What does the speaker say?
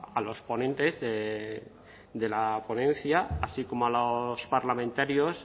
a los ponentes de la ponencia así como a los parlamentarios